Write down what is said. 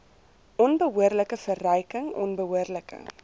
onbehoorlike verryking onbehoorlike